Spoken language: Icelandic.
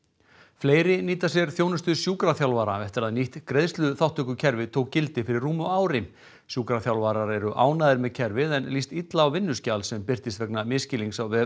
fleiri nýta sér þjónustu sjúkraþjálfara eftir að nýtt greiðsluþátttökukerfi tók gildi fyrir rúmu ári sjúkraþjálfarar eru ánægðir með kerfið en líst illa á vinnuskjal sem birtist vegna misskilnings á vef